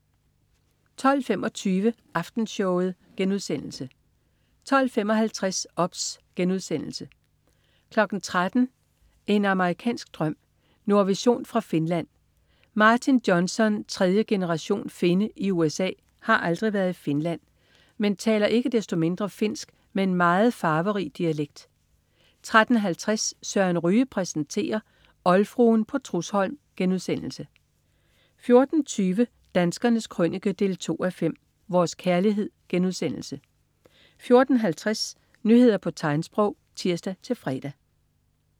12.25 Aftenshowet* 12.55 OBS* 13.00 En amerikansk drøm. Nordvision fra Finland. Martin Johnson, tredje generation finne i USA, har aldrig været i Finland, men taler ikke desto mindre finsk med en meget farverig dialekt 13.50 Søren Ryge præsenterer. Oldfruen på Trudsholm* 14.20 Danskernes Krønike 2:5. Vores kærlighed* 14.50 Nyheder på tegnsprog (tirs-fre)